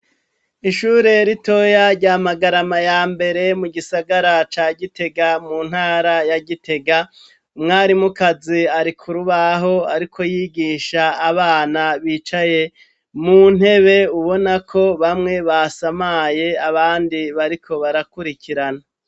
Ishure ritoya rya Magarama ya Mbere mu gisagara ca Gitega mu ntara ya Gitega, umwarimukazi ari ku rubaho ariko yigisha abana bicaye mu ntebe ubona ko bamwe basamaye abandi bariko barakurikirana.